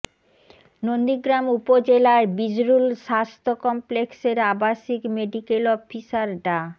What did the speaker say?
নন্দীগ্রাম উপজেলার বিজরুল স্বাস্থ্য কমপ্লেক্সের আবাসিক মেডিক্যাল অফিসার ডা